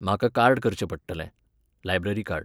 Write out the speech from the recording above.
म्हाका कार्ड करचें पडटलें. Library card